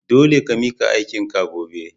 Dole ka mika aikin ka gobe!